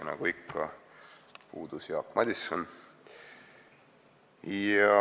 Nagu ikka, puudus Jaak Madison.